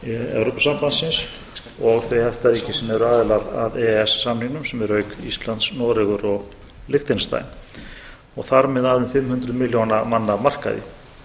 evrópusambandsins og þau efta ríki sem eru aðilar að e e s samningnum sem eru auk íslands noregur og liechtenstein og þar með að um fimm hundruð milljóna manna markað